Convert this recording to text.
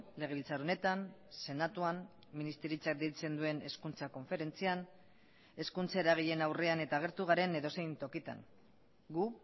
legebiltzar honetan senatuan ministeritzak deitzen duen hezkuntza konferentzian hezkuntza eragileen aurrean eta agertu garen edozein tokitan gu